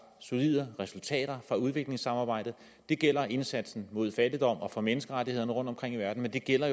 solide resultater fra udviklingssamarbejdet det gælder indsatsen mod fattigdom og for menneskerettighederne rundtomkring i verden men det gælder